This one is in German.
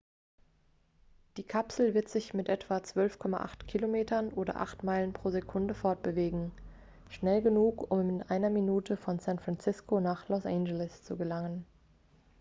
die kapsel wird sich mit etwa 12,8 km oder 8 meilen pro sekunde fortbewegen schnell genug um in einer minute von san francisco nach los angeles zu gelangen